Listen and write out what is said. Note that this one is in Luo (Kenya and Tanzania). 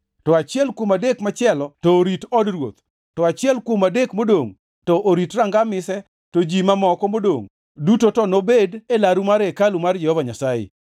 to achiel kuom adek machielo to orit od ruoth, to achiel kuom adek modongʼ to orit Ranga Mise to ji mamoko modongʼ duto to nobed e laru mar hekalu mar Jehova Nyasaye.